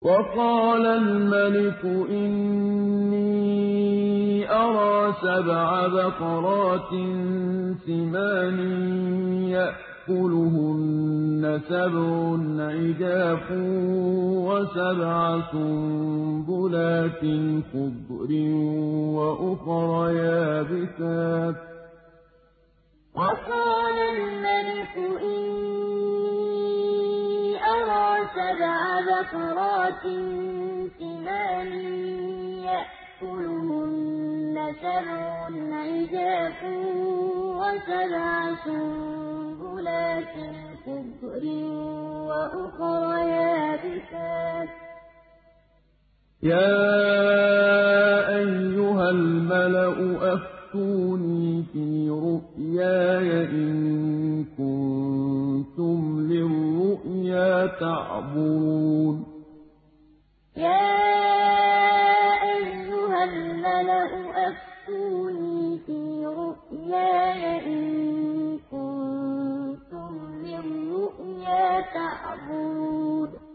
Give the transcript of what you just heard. وَقَالَ الْمَلِكُ إِنِّي أَرَىٰ سَبْعَ بَقَرَاتٍ سِمَانٍ يَأْكُلُهُنَّ سَبْعٌ عِجَافٌ وَسَبْعَ سُنبُلَاتٍ خُضْرٍ وَأُخَرَ يَابِسَاتٍ ۖ يَا أَيُّهَا الْمَلَأُ أَفْتُونِي فِي رُؤْيَايَ إِن كُنتُمْ لِلرُّؤْيَا تَعْبُرُونَ وَقَالَ الْمَلِكُ إِنِّي أَرَىٰ سَبْعَ بَقَرَاتٍ سِمَانٍ يَأْكُلُهُنَّ سَبْعٌ عِجَافٌ وَسَبْعَ سُنبُلَاتٍ خُضْرٍ وَأُخَرَ يَابِسَاتٍ ۖ يَا أَيُّهَا الْمَلَأُ أَفْتُونِي فِي رُؤْيَايَ إِن كُنتُمْ لِلرُّؤْيَا تَعْبُرُونَ